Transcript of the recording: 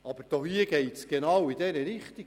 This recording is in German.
Vorliegend geht es jedoch genau in diese Richtung.